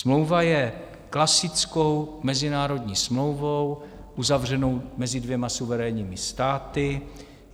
Smlouva je klasickou mezinárodní smlouvou uzavřenou mezi dvěma suverénními státy.